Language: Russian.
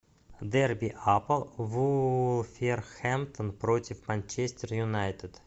дерби апл вулверхэмптон против манчестер юнайтед